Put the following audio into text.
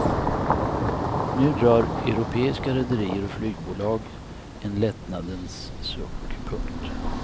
Nu drar europeiska rederier och flygbolag en lättnadens suck. punkt